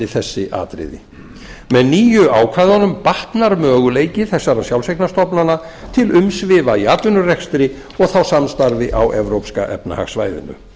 þessi atriði með nýju ákvæðunum batnar möguleiki þessara sjálfseignarstofnana til umsvifa í atvinnurekstri og þá samstarfi á evrópska efnahagssvæðinu